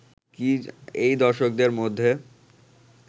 এই দর্শকদের মধ্যে